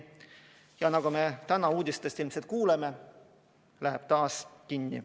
Ja nagu me täna uudistest ilmselt kuuleme, läheb taas kinni.